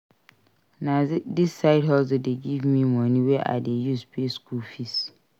Na dis side hustle dey give me money wey I dey use pay skool fees.